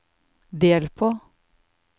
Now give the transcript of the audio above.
del på